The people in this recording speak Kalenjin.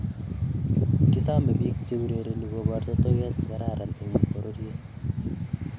Kisome piik cheurereni koparta toget nekaran en pororyet